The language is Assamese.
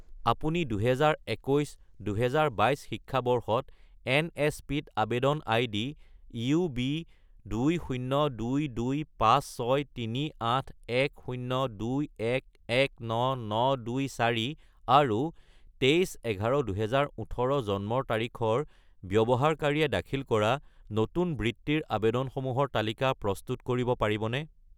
আপুনি 2021 - 2022 শিক্ষাবৰ্ষত এনএছপি-ত আবেদন আইডি UB20225638102119924 আৰু 23-11-2018 জন্মৰ তাৰিখৰ ব্যৱহাৰকাৰীয়ে দাখিল কৰা নতুন বৃত্তিৰ আবেদনসমূহৰ তালিকা প্ৰস্তুত কৰিব পাৰিবনে?